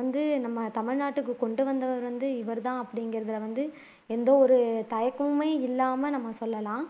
வந்து நம்ம தமிழ் நாட்டுக்கு கொண்டு வந்தவர வந்து இவர்தான் அப்படிங்கிறதுல வந்து எந்த ஒரு தயக்கமுமே இல்லாம நம்ம சொல்லலாம்